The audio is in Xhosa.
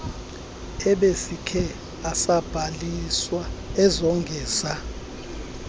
ebesikhe asabhaliswa ezongeza